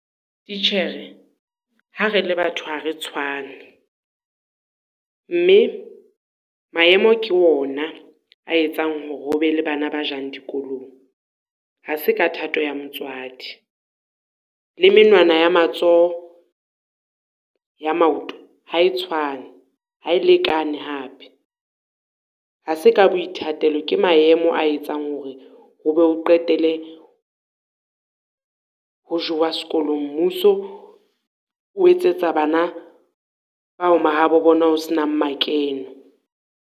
Titjhere, ha re le batho ha re tshwane, mme maemo ke ona a etsang hore o be le bana ba jang dikolong. Ha se ka thato ya motswadi, le menwana ya matsoho ya maoto ha e tshwane, ha e lekane hape. Ha se ka boithatelo, ke maemo a etsang hore ho be ho qetele ho jowa sekolong, mmuso o etsetsa bana bao mahabo bona ho se nang makene.